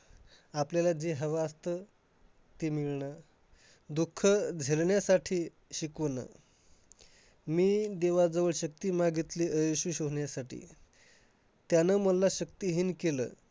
आपल्याला जे हवं असतं ते मिळणं दुःख धरण्यासाठी शिकवणं मी देवाजवळ शक्ती मागितली अयशस्वी होण्यासाठी. त्याने मला शक्तिहीन केलं.